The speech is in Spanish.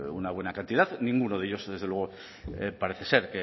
una buena cantidad ninguno de ellos desde luego parece ser